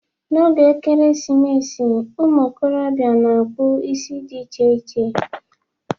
N'oge Ekeresimesi, ụmụikorobịa na-akpụ isi dị iche iche.